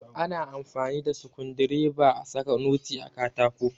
Ana amfani da Sukundireba a saka noti a katako.